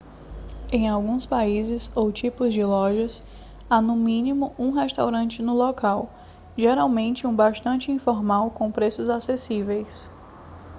em alguns países ou tipos de lojas há no mínimo um restaurante no local geralmente um bastante informal com preços acessíveis